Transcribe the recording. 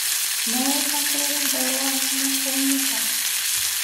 No ũthakĩre rwĩmbo rwa nakumukka